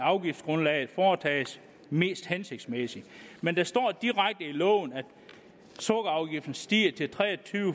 afgiftsgrundlaget foretages mest hensigtsmæssigt men der står at sukkerafgiften stiger til tre og tyve